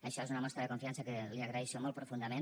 això és una mostra de confiança que li agraeixo molt profundament